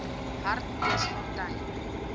hartbeesfontein